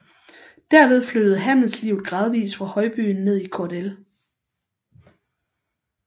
Derved flyttede handelslivet gradvis fra højbyen ned i Kordel